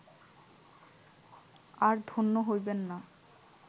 আর ধন্য হইবেন না